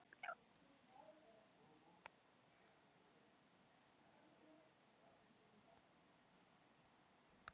spurði slökkviliðsmaðurinn byrstur.